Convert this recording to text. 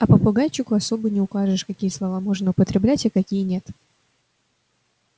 а попугайчику особо не укажешь какие слова можно употреблять а какие нет